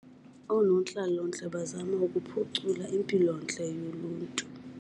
Oonontlalontle bazama ukuphucula impilontle yoluntu.